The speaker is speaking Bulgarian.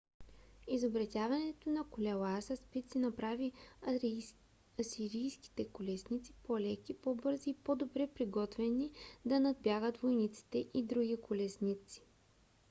изобретяването на колела със спици направи асирийските колесници по - леки по - бързи и по - добре подготвени да надбягат войниците и другите колесници